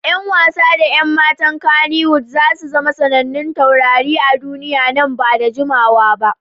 Yan wasa da 'yan matan Kannywood za su zama sanannun taurari a duniya nan ba da jimawa ba.